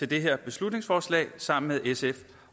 det her beslutningsforslag sammen med sf